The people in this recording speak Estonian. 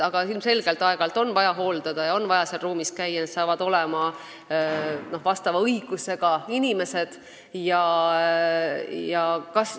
Aga ilmselgelt on aeg-ajalt vaja seadmeid hooldada ja on vaja seal ruumis käia, selleks saavad olema vastava õigusega inimesed.